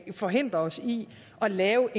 forhindrer os i at lave